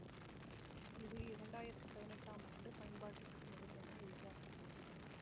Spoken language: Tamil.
இது இரண்டாயிரத்தி பதினெட்டாம் ஆண்டு பயன்பாட்டுக்கு வரும் என எதிர்பார்க்க படுகிறது